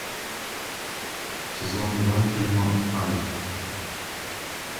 сезон два фильма альф